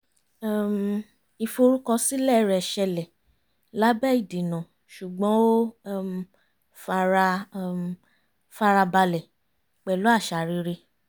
um ìforúkọsílẹ̀ rẹ̀ ṣẹlẹ̀ lábẹ́ ìdènà ṣùgbọ́n ó um fara um fara balẹ̀ pẹ̀lú àṣà rere